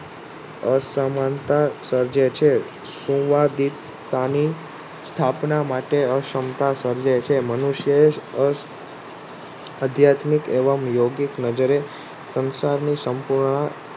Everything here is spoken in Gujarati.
અસમાનતા સર્જે છે શુંવાદિતતાની સ્થાપના માટે અસમતા સર્જે છે મનુષ્ય એ જ અધયાત્મિક એવમ યોગિત નજરે સંસારની સંપૂર્ણ